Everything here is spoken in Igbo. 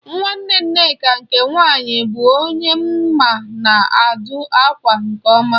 Nwanne Nneka nke nwaanyị bụ onye m ma na-adụ ákwà nke ọma